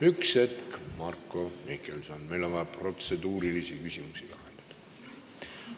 Üks hetk, Marko Mihkelson, meil on vaja protseduuriline küsimus lahendada.